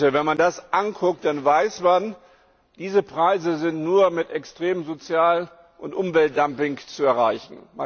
Wenn man das betrachtet, weiß man Diese Preise sind nur mit extremem Sozial und Umweltdumping zu erreichen.